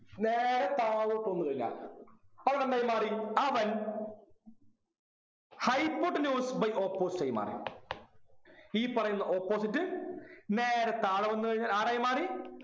നേരെ താഴോട്ട് വന്നു കഴിഞ്ഞാൽ അവിടെന്തായി മാറി അവൻ hypotenuse by opposite ആയി മാറി ഈ പറയുന്ന opposite നേരെ താഴോട്ട് വന്നു കഴിഞ്ഞാൽ ആരായി മാറി